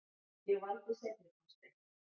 Ég valdi seinni kostinn.